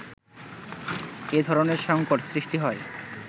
এ ধরনের সংকট সৃষ্টি হয়